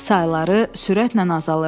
sayları sürətlə azalırdı.